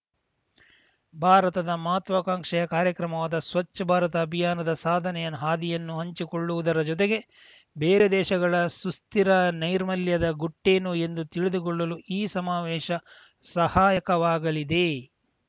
ಭಾರತದ ಮಹತ್ವಾಕಾಂಕ್ಷಿ ಕಾರ್ಯಕ್ರಮವಾದ ಸ್ವಚ್ಛ ಭಾರತ್ ಅಭಿಯಾನದ ಸಾಧನೆಯ ಹಾದಿಯನ್ನು ಹಂಚಿಕೊಳ್ಳುವುದರ ಜೊತೆಗೆ ಬೇರೆ ದೇಶಗಳ ಸುಸ್ಥಿರ ನೈರ್ಮಲ್ಯದ ಗುಟ್ಟೇನು ಎಂದು ತಿಳಿದುಕೊಳ್ಳಲೂ ಈ ಸಮಾವೇಶ ಸಹಾಯಕವಾಗಲಿದೆ